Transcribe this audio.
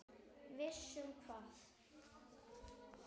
Viss um hvað?